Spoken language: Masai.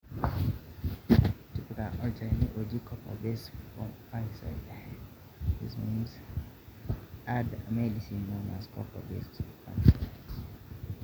Tipika olchani oji copper base fungicide